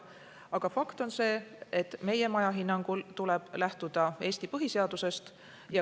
Aga fakt on see, et hinnangul tuleb lähtuda Eesti põhiseadusest.